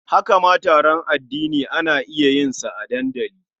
Haka ma taron addini ana iya yin sa a dandali.